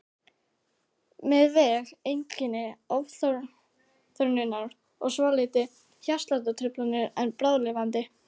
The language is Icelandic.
Með væg einkenni ofþornunar og svolitlar hjartsláttartruflanir en bráðlifandi.